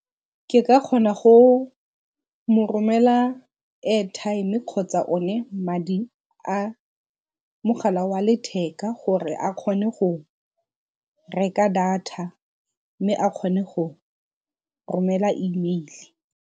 Ke ka kgona go mo romela airtime kgotsa o ne madi a mogala wa letheka gore a kgone go reka data mme a kgone go romela email-e.